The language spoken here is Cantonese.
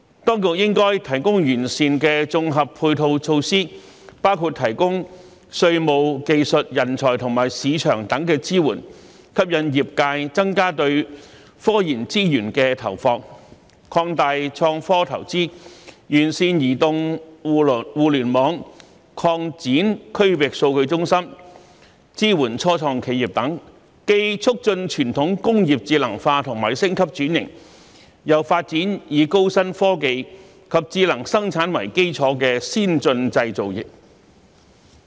當局應提供完善的綜合配套措施，包括提供稅務、技術、人才和市場等支援，吸引業界增加對科研資源的投放，擴大創科投資，完善移動互聯網，擴展區域數據中心，支援初創企業等，既促進傳統工業智能化和升級轉型，又發展以高新科技及智能生產為基礎的先進製造業。